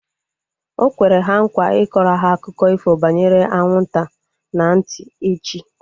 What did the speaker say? Okwere ha nkwa ịkọrọ ha akụkọ ifo banyere anwụ nta na ntị echi